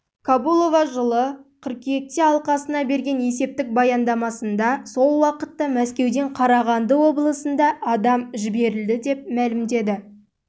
кобулова жылы қыркүйекте алқасына берген есептік баяндамасында сол уақытта мәскеуден қарағанды облысында адам жіберілді деп мәлімдеді